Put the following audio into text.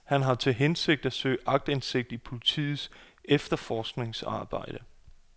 Han har til hensigt at søge aktindsigt i politiets efterforskningsarbejde.